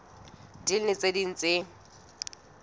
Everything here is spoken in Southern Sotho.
ding le tse ding tse